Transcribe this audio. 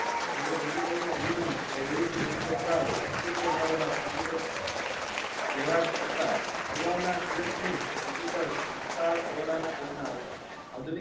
જોકે કમ્પ્યુટર નો અભિગમ યંત્રો અગાઓ અસ્થીત્વ ધરાવતા કોમ્પ્યુટર્સ જેવા કે હતા આગાઉ ના ઇલેક્ટ્રોનિક કોમ્પ્યુટર્સ વિશાળ ઓરડાના કાઢ ના હતા